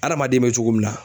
Adamaden bɛ cogo min na.